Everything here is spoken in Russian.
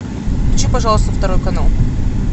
включи пожалуйста второй канал